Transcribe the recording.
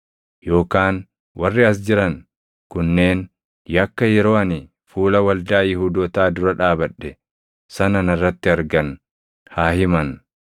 Yookaan warri as jiran kunneen yakka yeroo ani fuula Waldaa Yihuudootaa dura dhaabadhe sana narratti argan haa himan;